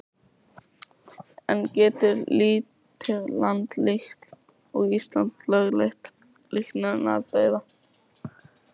En getur lítið land líkt og Ísland lögleitt líknardauða?